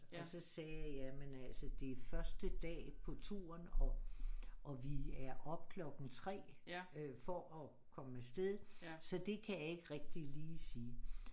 Og så sagde jeg jamen altså det er første dag på turen og og vi er op klokken 3 for at komme afsted så det kan jeg ikke rigtig lige sige